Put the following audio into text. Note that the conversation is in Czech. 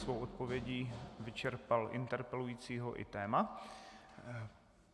Svou odpovědí vyčerpal interpelujícího i téma.